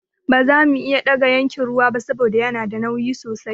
Ba zamu iya ɗaga yankin ruwan ba saboda yana da nauyi sosai.